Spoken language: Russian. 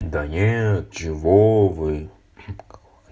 да нет чего вы